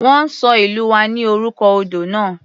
Wọ́n ṣọ ìlú wa ní orúkọ odò náà.